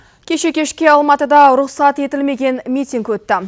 кеше кешке алматыда рұқсат етілмеген митинг өтті